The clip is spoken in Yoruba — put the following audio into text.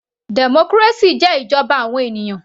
Democracy jẹ́ ìjọba àwọn ènìyàn.